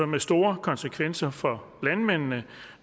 med store konsekvenser for landmændene